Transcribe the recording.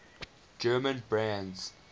german brands